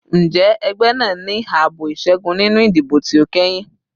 Njẹ ẹgbẹ naa ni aabo iṣẹgun ninu idibo ti o kẹhin?